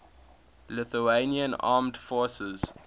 lithuanian armed forces